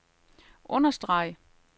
understreg